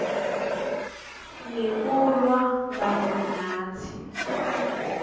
ngekulwa kanye natsi